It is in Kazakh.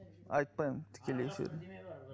айтпаймын тікелей эфирде